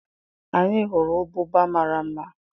Anyị hụrụ ụbụba mara mma